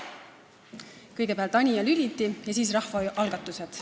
Kõigepealt räägin Anija Lülitist ja siis rahvaalgatustest.